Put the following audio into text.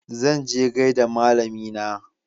Zan je gaida malamina.